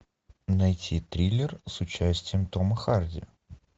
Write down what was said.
найти триллер с участием тома харди